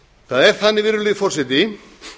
það er þannig virðulegi forseti